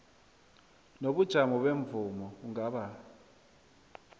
nobujamo bemvumo kungaba